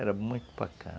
Era muito bacana.